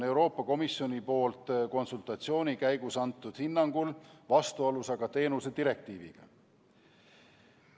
Euroopa Komisjoni poolt konsultatsiooni käigus antud hinnangul on nimetatud muudatus vastuolus teenuse direktiiviga.